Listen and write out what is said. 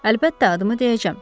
Əlbəttə, adımı deyəcəm.